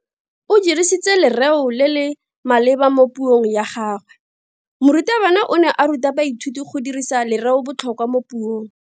O dirisitse lereo le le maleba mo puong ya gagwe. Morutabana o ne a ruta baithuti go dirisa lereobotlhokwa mo puong.